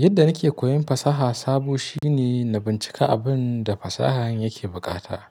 Yadda nake koyon fasaha sabo shine na bincika abin da fasahar yake bukata.